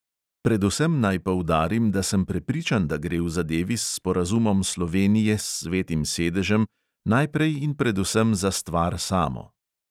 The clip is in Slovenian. Predvsem naj poudarim, da sem prepričan, da gre v zadevi s sporazumom slovenije s svetim sedežem najprej in predvsem za stvar samo.